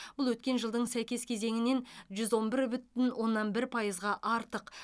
бұл өткен жылдың сәйкес кезеңінен жүз он бір бүтін оннан бір пайызға артық